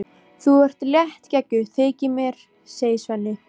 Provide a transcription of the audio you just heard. Þú ert léttgeggjuð, þykir mér, segir Svenni.